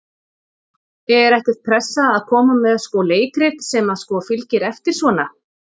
Er ekkert pressa að koma með sko leikrit sem að sko fylgir eftir svona?